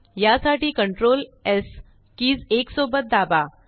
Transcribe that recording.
यासाठी CTRLS keys एकसोबत दाबा